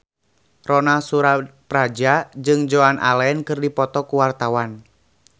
Ronal Surapradja jeung Joan Allen keur dipoto ku wartawan